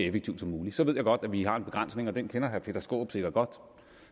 effektivt som muligt så ved jeg godt at vi har en begrænsning og den kender herre peter skaarup sikkert godt